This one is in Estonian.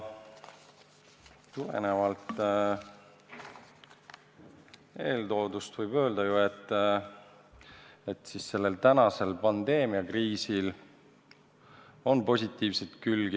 Tulenevalt eeltoodust võib öelda, et praegusel pandeemiakriisil on ka positiivseid külgi.